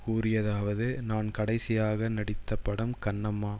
கூறியதாவது நான் கடைசியாக நடித்த படம் கண்ணம்மா